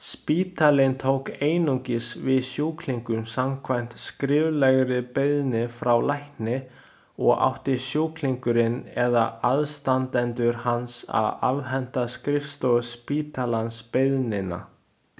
Spítalinn tók einungis við sjúklingum samkvæmt skriflegri beiðni frá lækni og átti sjúklingurinn eða aðstandendur hans að afhenda skrifstofu spítalans beiðnina.